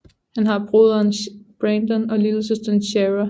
Han har broderen Brandon og lillesøsteren Shara